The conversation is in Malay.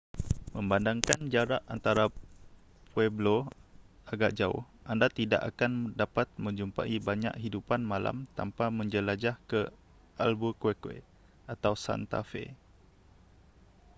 memandangkan jarak antara pueblo agak jauh anda tidak akan dapat menjumpai banyak hidupan malam tanpa menjelajah ke albuquerque atau santa fe